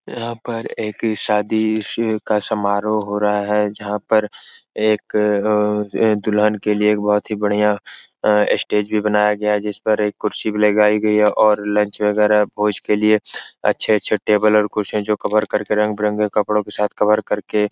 यहाँ पर एक शादी इशू का समारोह हो रहा है जहा पर आ एक दुह्लन के लिये आ बहुत बडिया आ स्टेज भी बनाया गया है जिस पर एक कुर्सी भी लगाई गयी है और लंच वगेरा भोज के लिये अच्छे-अच्छे टेबल और जो कुर्सियां कवर करके रंग-बिरंगे कपड़ो के साथ कवर करके --